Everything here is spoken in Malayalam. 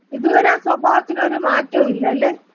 ഇതുവരെ ആ സ്വഭാവത്തിന് ഒരു മാറ്റോം ഇല്ലല്ലെ.